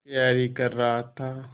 तैयारी कर रहा था